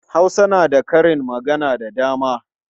Hausa na da karin magana da dama.